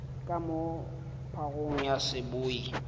ka moo phagong ya seboi